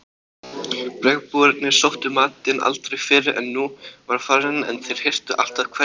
Bergbúarnir sóttu matinn aldrei fyrr en hún var farin en þeir hirtu alltaf hverja ögn.